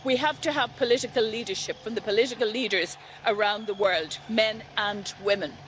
We have to have political leadership from the political leaders around the world, men and women.